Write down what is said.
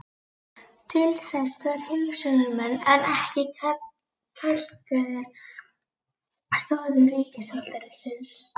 Til þess þarf hugsjónamenn en ekki kalkaðar stoðir ríkisvaldsins.